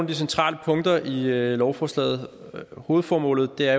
de centrale punkter i i lovforslaget hovedformålet er